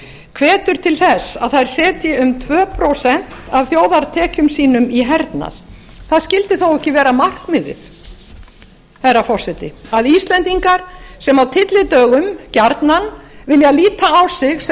hvetur til þess að þær setji um tvö prósent af þjóðartekjum sínum í hernað það skyldi þó ekki vera markmiðið herra forseti að íslendingar sem á tyllidögum gjarnan vilja líta á sig sem